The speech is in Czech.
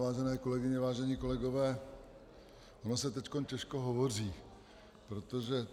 Vážené kolegyně, vážení kolegové, ono se teď těžko hovoří, protože...